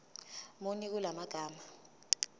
muni kula magama